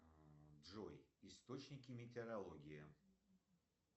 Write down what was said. джой источники метеорологии